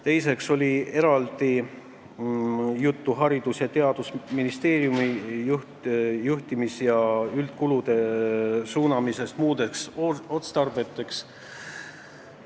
Teiseks oli eraldi juttu Haridus- ja Teadusministeeriumi juhtimis- ja üldkulude suunamisest muuks otstarbeks.